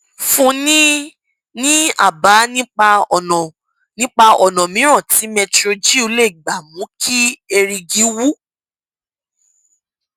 fúnni ní àbá nípa ọnà nípa ọnà mìíràn tí metrogyl lè gbà mú kí erìgì wú